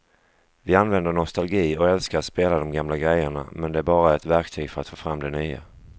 Vi använder nostalgi och älskar att spela de gamla grejerna men det är bara ett verktyg för att få fram det nya.